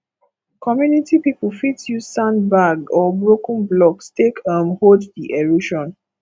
community pipo fit use sand bag or broken blocks take um hold di erosion